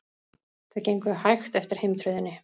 Þau gengu hægt eftir heimtröðinni.